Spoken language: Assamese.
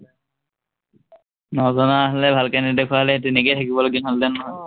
নজনা হলে, ভালকে নেদেখুৱা হলে তেনেকেই থাকিবলগীয়া হলহেঁতেন আহ নহয়